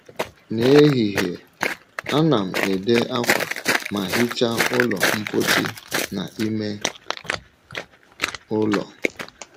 N’ehihie, ana m ede akwa ma hichaa ụlọ mposi na ime ụlọ.